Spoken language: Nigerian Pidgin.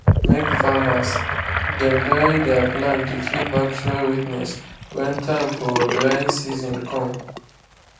make farmers dem dry their plants to keep back soil wetness when time for drying season come.